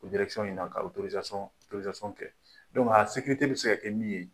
O in na ka kɛ a bɛ se ka kɛ min ye